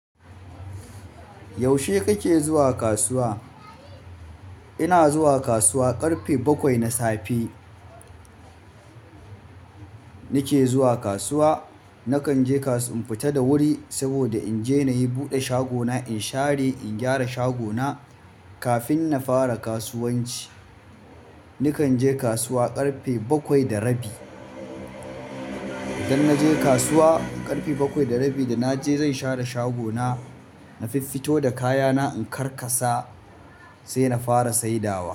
Yaushe kake zuwa kasuwa. Ina zuwa kasuwa, ƙarfe bakwai na safe nake zuwa kasuwa. Nakan je kasuwa in fita da wuri saboda in je na yi buɗe shagona, in share, in gyara shagona kafin na fara kasuwanci. Nakan je kasuwa ƙarfe bakwai da rabi. Idan naje kasuwa ƙarfe bakwai da rabi da naje zan share shagona, na fiffito da kayana, in karkasa sai na fara saidawa.